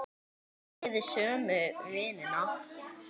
Eigið þið sömu vinina?